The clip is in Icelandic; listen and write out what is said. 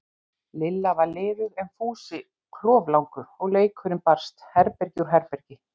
Lilla var liðug en Fúsi kloflangur, og leikurinn barst herbergi úr herbergi.